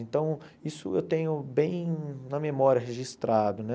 Então, isso eu tenho bem na memória registrado, né?